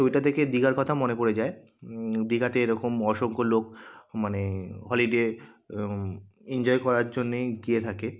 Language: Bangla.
ওইটা দেখে দিঘার কথা মনে পড়ে যায় উম দিঘাতে এরকম অসংখ্য লোক মানে হলিডে আ ইনজয় করার জন্যেই গিয়ে থাকে।